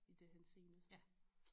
I det henseende sådan